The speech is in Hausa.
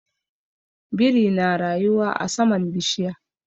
Biri na rayuwa a saman bishiya.